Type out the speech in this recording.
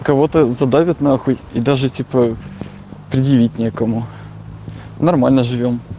кого-то задавит нахуй и даже типа предъявить некому нормально живём